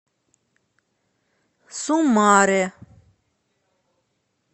сумаре